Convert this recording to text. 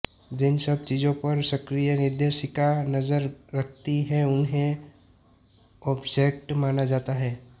जिन सब चीज़ों पर सक्रिय निर्देशिका नज़र रखती हैं उन्हें ऑब्जेक्ट माना जाता है